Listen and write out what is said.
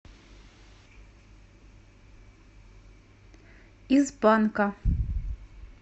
из банка